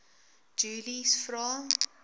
julies vra